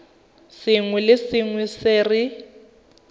sengwe le sengwe se re